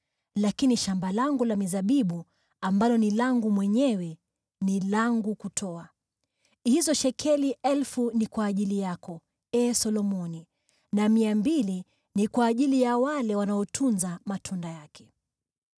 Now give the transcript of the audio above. Lakini shamba langu la mizabibu ambalo ni langu mwenyewe ni langu kutoa; hizo shekeli 1,000 ni kwa ajili yako, ee Solomoni, na shekeli mia mbili ni kwa ajili ya wale wanaotunza matunda yake.